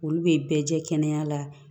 Olu bɛ bɛɛ jɛ kɛnɛya la